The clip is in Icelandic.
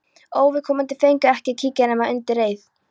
Óviðkomandi fengu ekki að kíkja nema undir eið.